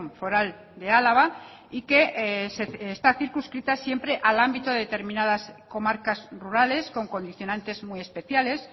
foral de álava y que está circunscrita siempre al ámbito de determinadas comarcas rurales con condicionantes muy especiales